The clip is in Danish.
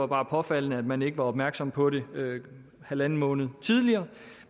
var påfaldende at man ikke var opmærksom på det halvanden måned tidligere